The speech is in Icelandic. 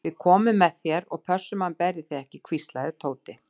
Við komum með þér og pössum að hann berji þig ekki hvíslaði Tóti.